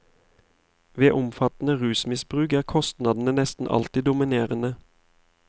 Ved omfattende rusmisbruk er kostnadene nesten alltid dominerende.